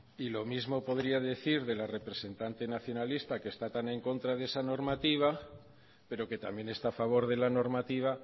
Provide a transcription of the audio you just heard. y lo mismo podría decir de la representante nacionalista que está también en contra de esa normativa pero que también está a favor de la normativa